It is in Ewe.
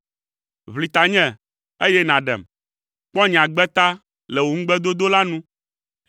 Ʋli tanye, eye nàɖem, kpɔ nye agbe ta le wò ŋugbedodo la nu.